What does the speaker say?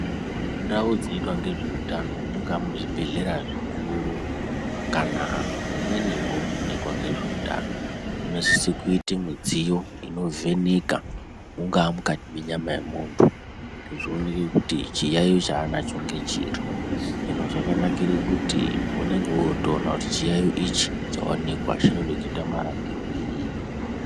Mundau dzinoitwa ngezveutano mungaa muzvibhedhlera zvikuru kana mumweniwo munoitwa ngezveutano, munosise kuite midziyo inovheneka, mungaa mukati menyama yemuntu kuti zvioneke kuti chiyaiyo chaanacho ngechiri. Hino zvakanakire kuti unenge wotoona kuti chiyaiyo ichi chaonekwa chinoda kuite marapirwei.